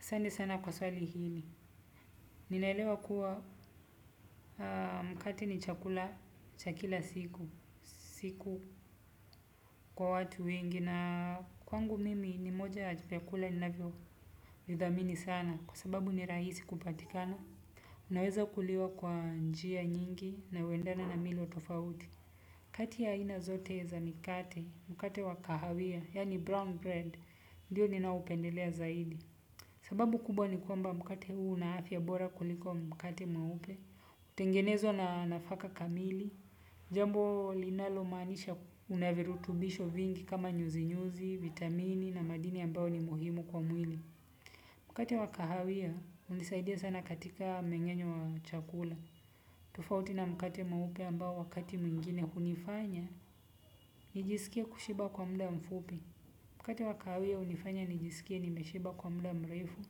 Asante sana kwa swali hili, ninaelewa kuwa mkate ni chakula cha kila siku, siku kwa watu wengi na kwangu mimi ni moja vyakula ninavyodhamini sana kwa sababu ni rahisi kupatikana. Unaweza kuliwa kwa njia nyingi na huendana na milo tofauti. Kati ya ina zote za mikate, mkate wa kahawia, yani brown bread, ndiyo ninaupendelea zaidi. Sababu kubwa ni kwamba mkate huu una afya bora kuliko mkate mweupe. Tengenezwa na nafaka kamili. Jambo linalomaanisha unavirutubisho vingi kama nyuzi-nyuzi, vitamini na madini ambao ni muhimu kwa mwili. Mkate wa kahawia, hunisaidia sana katika mengenyo wa chakula. Tofauti na mkate mweupe ambao wakati mwingine hunifanya, nijisikia kushiba kwa muda mfupi. Mkate wa kahawia hunifanya nijisikie nimeshiba kwa muda mrefu.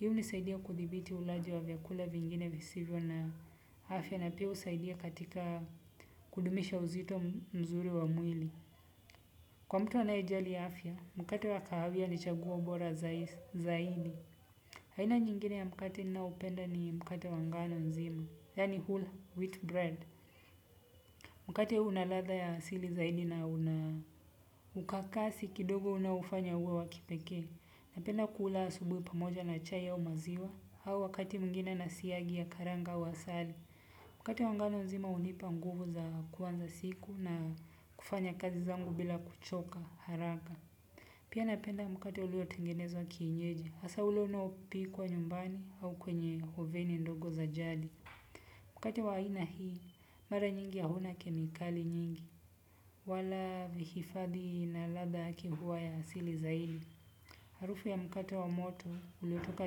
Hii hunisaidia kuthibiti ulaji wa vyakula vingine visivyo na afya na pia husaidia katika kudumisha uzito mzuri wa mwili. Kwa mtu anayejali afya, mkate wa kahawia ni chaguo bora zaidi. Haina nyingine ya mkate naoupenda ni mkate wa ngano nzima, yaani whole wheat bread. Mkate huu unaladha ya asili zaidi na unaukakasi kidogo unaoufanya uwe wakipekee. Napenda kula asubuhi pamoja na chai au maziwa au wakati mwingine na siagi ya karanga wa asali. Mkati wa ngano nzima hunipa nguvu za kwanza siku na kufanya kazi zangu bila kuchoka haraka. Pia napenda mkate ulio tengenezwa kienyeji. Hasaa ule unaopikwa nyumbani au kwenye hoveni ndogo za jali. Mkati wa aina hii mara nyingi hauna kemikali nyingi wala vihifadhi na ladha yake huwa ya asili zaidi. Harufu ya mkate wa moto uliotoka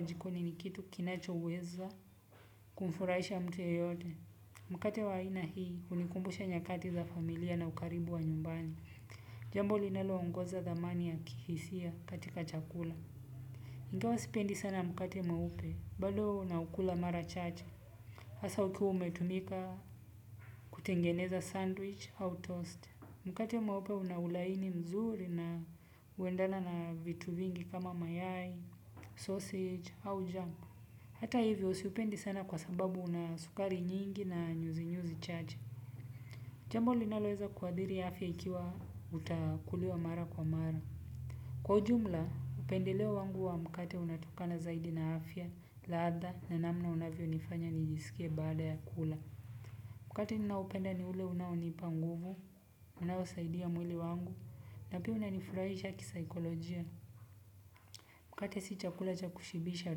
jikoni ni kitu kinachoweza kumfuraisha mtu yeyote. Mkate wa aina hii unikumbusha nyakati za familia na ukaribu wa nyumbani. Jambo linaloongoza dhamani ya kihisia katika chakula. Ingawa sipendi sana mkate mweupe bado naukula mara chache. Hasaa ukiwa umetumika kutengeneza sandwich au toast. Mkate mweupe unaulaini mzuri na huendana na vitu vingi kama mayai, sausage au jamu. Hata hivyo siupendi sana kwa sababu una sukari nyingi na nyuzi nyuzi chache. Jambo linaloweza kuadhiri afya ikiwa utakuliwa mara kwa mara. Kwa ujumla, upendeleo wangu huwa mkate unaotokana zaidi na afya, ladha na namna unavyo nifanya nijisikie baada ya kula. Mkate ninaoupenda ni ule unaonipa nguvu, unaosaidia mwili wangu. Na pia unaonifurahisha kisaikolojia. Mkate si chakula cha kushibisha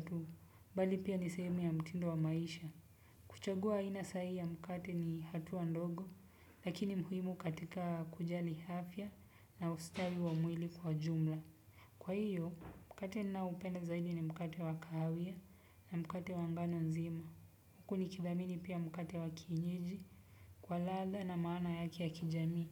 tu. Radhi pia niseme na mtindo wa maisha kuchagua aina sahihi ya mkate ni hatua ndogo lakini muhimu katika kujali afya na ustawi wa mwili kwa jumla. Kwa hiyo, mkate naoupenda zaidi ni mkate wa kahawia na mkate wa ngano nzima. Huku nidhamini pia mkate wa kienyeji kwa ladha na maana yake ya kijamii.